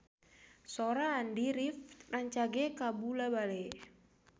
Sora Andy rif rancage kabula-bale